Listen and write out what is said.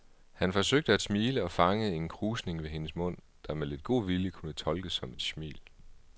Han forsøgte at smile og fangede en krusning ved hendes mund, der med lidt god vilje kunne fortolkes som et smil.